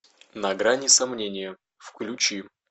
на грани сомнения включи